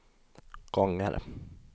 gånger